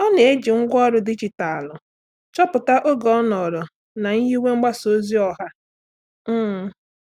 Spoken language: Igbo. Ọ́ nà-ejì ngwá ọrụ dijitalụ chọ́pụ́tá oge ọ́ nọ́rọ́ na nyiwe mgbasa ozi ọha. um